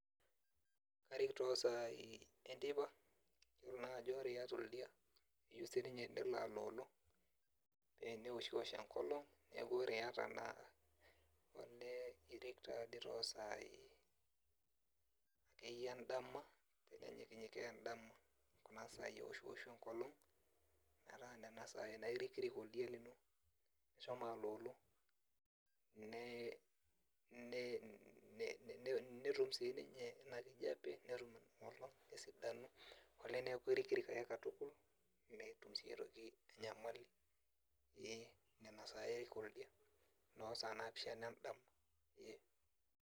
Karik tosai enteipa, yiolo najo ore iyata oldia, keyieu sininye nelo aloolo, peneoshiwosh enkolong, neeku ore iyata naa elee irik tadi tosai akeyie edama, enenyikinyikaa edama kuna sai eneoshu enkolong, metaa nena sai naa irikirik oldia lino meshomo aloolo, netum sininye inakijape. Netum inolong esidano. Olee neku irikirik ake katukul, metum si aitoki enyamali. Nena sai arik oldia, nosaa naapishana edama, ee.